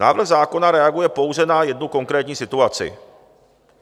Návrh zákona reaguje pouze na jednu konkrétní situaci.